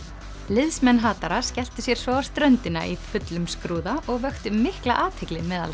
liðsmenn hatara skelltu sér svo á ströndina í fullum skrúða og vöktu mikla athygli meðal